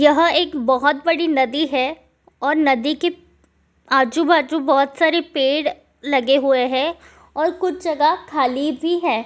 यह एक बहुत बड़ी नदी है और नदी के आजू बाजू बहुत सारे पेड़ लगे हुए है और कुछ जगह खाली भी है।